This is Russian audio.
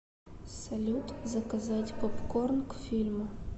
салют заказать попкорн к фильму